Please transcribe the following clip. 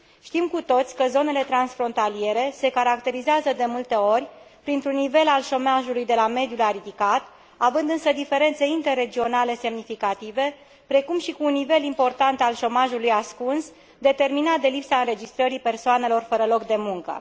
Știm cu toții că zonele transfrontaliere se caracterizează de multe ori printr un nivel al șomajului de la mediu la ridicat, având însă diferențe interregionale semnificative, precum și printr un nivel important al șomajului ascuns, determinat de lipsa înregistrării persoanelor fără loc de muncă.